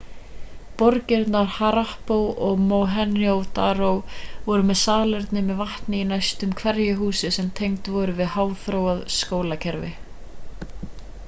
borgirnar harappa og mohenjo-daro voru með salerni með vatni í næstum hverju húsi sem tengd voru við háþróað skólpkerfi